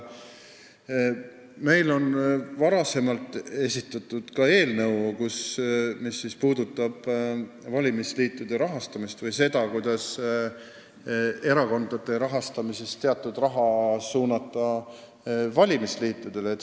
Me oleme varem esitanud ka eelnõu, mis puudutab valimisliitude rahastamist – seda, kuidas suunata osa erakondade rahast valimisliitudele.